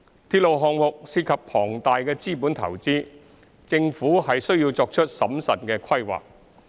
鐵路項目涉及龐大的資本投資，政府需作出審慎的規劃。